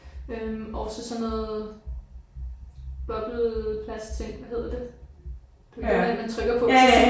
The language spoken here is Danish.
Øh og så sådan noget bobbelplast ting hvad hedder det? Du ved det der man trykker på